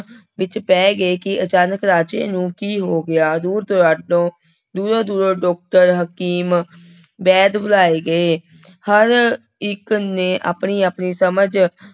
ਵਿੱਚ ਪੈ ਗਏ ਕਿ ਅਚਾਨਕ ਰਾਜੇ ਨੂੰ ਕੀ ਹੋ ਗਿਆ, ਦੂਰ ਦਰਾਡੇ ਤੋਂ ਦੂਰੋਂ ਦੂਰੋਂ doctor ਹਕੀਮ ਵੈਦ ਬੁਲਾਏ ਗਏ ਹਰ ਇੱਕ ਨੇ ਆਪਣੀ ਆਪਣੀ ਸਮਝ